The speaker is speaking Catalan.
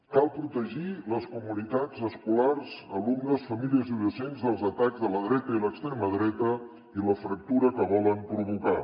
cal protegir les comunitats escolars alumnes famílies i docents dels atacs de la dreta i l’extrema dreta i de la fractura que volen provocar